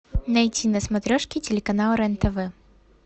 найти на смотрешке телеканал рен тв